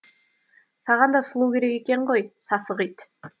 саған да сұлу керек екен ғой сасық ит